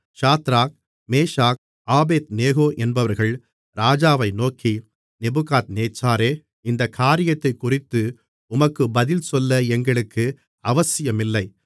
Shadrach Meshach Abednego என்பவர்கள் ராஜாவை நோக்கி நேபுகாத்நேச்சாரே இந்தக் காரியத்தைக் குறித்து உமக்கு பதில்சொல்ல எங்களுக்கு அவசியமில்லை